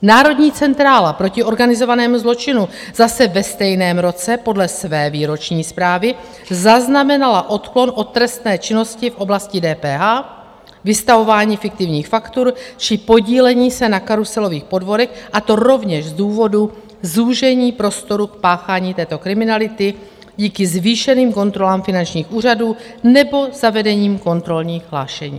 Národní centrála proti organizovanému zločinu zase ve stejném roce podle své výroční zprávy zaznamenala odklon od trestné činnosti v oblasti DPH, vystavování fiktivních faktur či podílení se na karuselových podvodech, a to rovněž z důvodu zúžení prostoru k páchání této kriminality díky zvýšeným kontrolám finančních úřadů nebo zavedení kontrolních hlášení.